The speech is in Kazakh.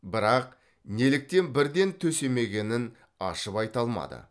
бірақ неліктен бірден төсемегенін ашып айта алмады